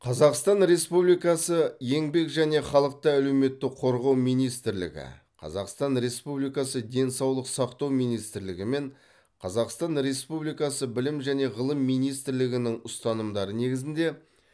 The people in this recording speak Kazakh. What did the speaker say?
қазақстан республикасы еңбек және халықты әлеуметтік қорғау министрлігі қазақстан республикасы денсаулық сақтау министрлігі мен қазақстан республикасы білім және ғылым министрлігінің ұстанымдары негізінде